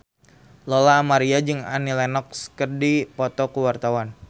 Lola Amaria jeung Annie Lenox keur dipoto ku wartawan